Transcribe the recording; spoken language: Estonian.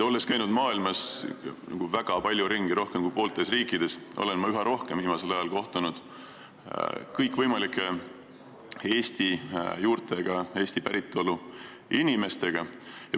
Olles maailmas väga palju ringi käinud – olen käinud rohkem kui pooltes riikides –, olen viimasel ajal üha rohkem kohtunud kõikvõimalike Eesti juurtega, Eesti päritolu inimestega.